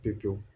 Pewu